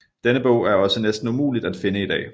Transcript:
Denne bog er også næsten umuligt at finde i dag